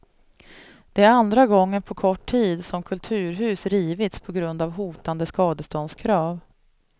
Det är andra gången på kort tid som kulturhus rivits på grund av hotande skadeståndskrav.